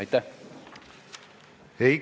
Aitäh!